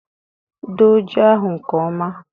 Doo ji ahụ nke ọma